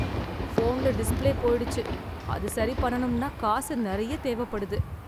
போன்ல டிஸ்ப்ளே போயிடுச்சு அது சரி பண்ணனும்னா காசு நிறைய தேவைப்படுது.